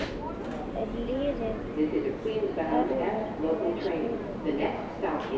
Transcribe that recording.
En á liðið erfitt með að spila með vindi?